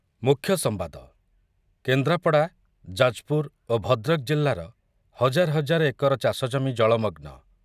ମୁଖ୍ୟ ସମ୍ବାଦ, କେନ୍ଦ୍ରାପଡ଼ା, ଯାଜପୁର ଓ ଭଦ୍ରକ ଜିଲ୍ଲାର ହଜାର ହଜାର ଏକର ଚାଷଜମି ଜଳମଗ୍ନ